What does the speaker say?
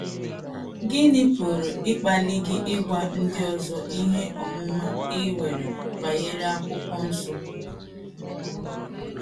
Gịnị pụrụ ịkpali gị ịgwa ndị ọzọ ihe ọmụma i nwere banyere akwụkwọ nsọ?